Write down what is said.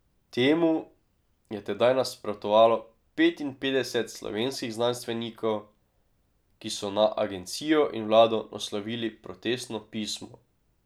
Temu je tedaj nasprotovalo petinpetdeset slovenskih znanstvenikov, ki so na agencijo in vlado naslovili protestno pismo.